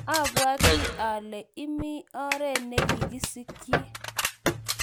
abawatii ale imii oret nekiskyi.